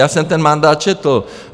Já jsem ten mandát četl.